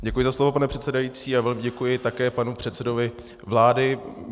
Děkuji za slovo, pane předsedající, a velmi děkuji také panu předsedovi vlády.